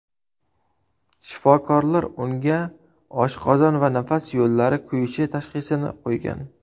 Shifokorlar unga oshqozon va nafas yo‘llari kuyishi tashxisini qo‘ygan.